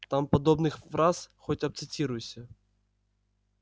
там подобных фраз хоть обцитируйся